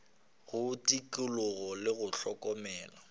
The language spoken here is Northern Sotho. go tikologo le go hlokomela